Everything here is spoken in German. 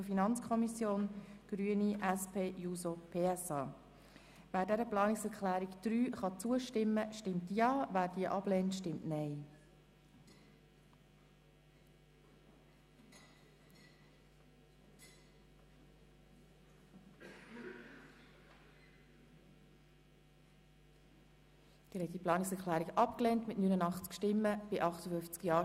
Im Voranschlag 2018 ist der Saldo der Produktgruppe 5.7.7 «Angebote für Menschen mit einem Pflege-, Betreuungs-, besonderen Bildungsbedarf» um CHF 0,25 Millionen zu erhöhen.